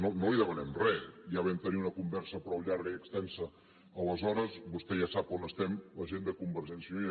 no li demanem res ja vam tenir una conversa prou llarga i extensa aleshores vostè ja sap on estem la gent de convergència i unió